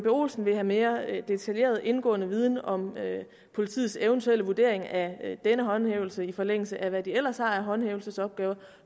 olsen vil have mere detaljeret indgående viden om politiets eventuelle vurdering af denne håndhævelse i forlængelse af hvad de ellers har af håndhævelsesopgaver og